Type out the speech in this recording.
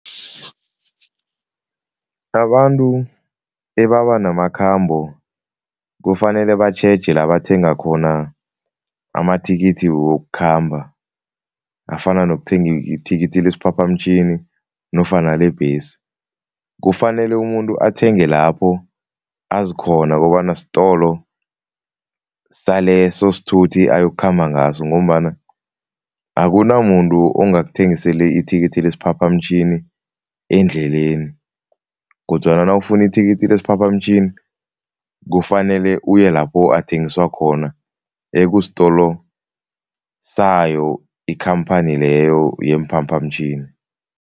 Abantu ebabanamakhambo kufanele batjheje la bathenga khona amathikithi wokukhamba afana nokuthenga ithikithi lesiphaphamtjhini nofana lebhesi. Kufanele umuntu athenge lapho azikhona kobana sitolo saleso sithuthi ayokukhamba ngaso ngombana akunamuntu ongakuthengisela ithikithi lesiphaphamtjhini endleleni kodwana nawufuna ithikithi lesiphaphamtjhini, kufanele uye lapho athengiswa khona ekusitolo sayo ikhamphani leyo yeemphaphamtjhini.